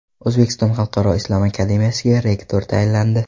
O‘zbekiston xalqaro islom akademiyasiga rektor tayinlandi.